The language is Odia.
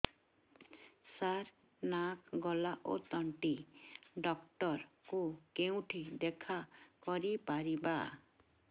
ସାର ନାକ ଗଳା ଓ ତଣ୍ଟି ଡକ୍ଟର ଙ୍କୁ କେଉଁଠି ଦେଖା କରିପାରିବା